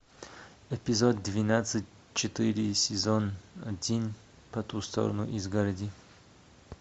эпизод двенадцать четыре сезон один по ту сторону изгороди